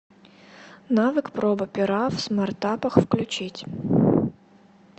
навык проба пера в смартапах включить